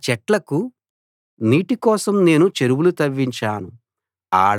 ఆ చెట్లకు నీటి కోసం నేను చెరువులు తవ్వించాను